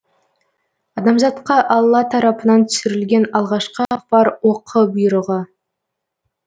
адамзатқа алла тарапынан түсірілген алғашқы ақпар оқы бұйрығы